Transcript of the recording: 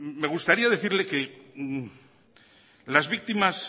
me gustaría decirle que las víctimas